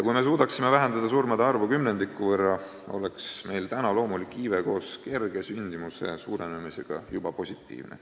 Kui me suudaksime vähendada surmade arvu kümnendiku võrra, oleks meil loomulik iive koos kerge sündimuse suurenemisega juba positiivne.